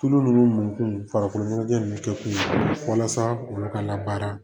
Tulu ninnu kun farikoloɲɔgɔn ninnu kɛ kun walasa olu ka labaara